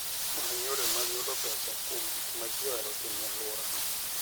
Many yore mag yudo pesa kuom gik ma ji ohero timo e alworano.